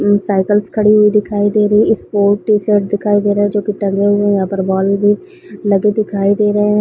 उम cycles खड़े हुए दिखाई दे रहे है इस पे एक टीशर्ट दिखाई दे रहा है जो की टंगा हुआ है यहाँ पर बॉल भी लगे दिखाई दे रहे है।